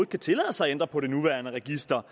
kan tillade sig at ændre på det nuværende register